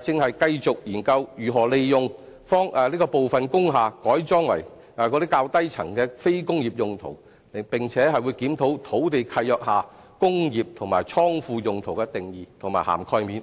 正繼續研究如何利用部分工廈改裝較低層作非工業用途，並檢討土地契約下"工業"及"倉庫"用途的定義和涵蓋面。